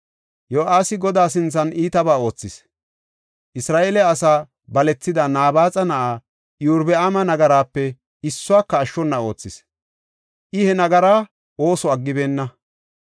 Yo7aasi Godaa sinthan iitabaa oothis. Isra7eele asaa balethida Nabaaxa na7aa Iyorbaama nagaraape issuwaka ashshona oothis; I he nagara ooso aggibeenna.